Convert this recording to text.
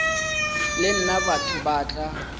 le nna batho ba tla